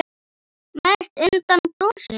Mest undan brosinu þínu.